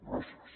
gràcies